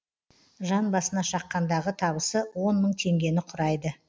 жан басына шаққандағы табысы он мың теңгені құрайды